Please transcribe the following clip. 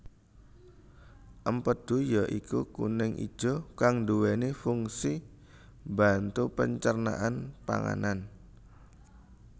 Empedhu ya iku kuning ijo kang nduweni funsi mbantu pencernaan panganan